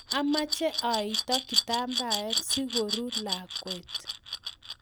Amache aito kitambaet siko ruwe lakwet